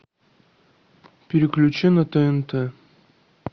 переключи на тнт